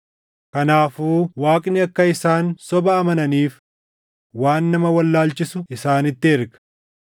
Kanaafuu Waaqni akka isaan soba amananiif waan nama wallaalchisu isaanitti erga;